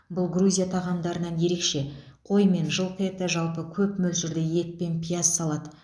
бұл грузия тағамдарынан ерекше қой мен жылқы еті жалпы көп мөлшерде ет пен пияз салады